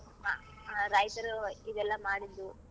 ಆ ಆ ರೈತರು ಇದೆಲ್ಲ ಮಾಡಿದ್ದು.